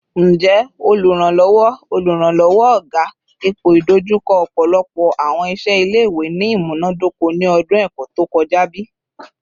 Njẹ Oluranlọwọ Oluranlọwọ / oga ipoidojuko ọpọlọpọ awọn iṣẹ ile-iwe ni imunadoko ni ọdun ẹkọ to kọja bi?